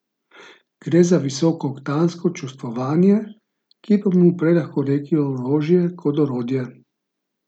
Gre za visokooktansko čustvovanje, ki bi mu prej lahko rekli orožje kot orodje.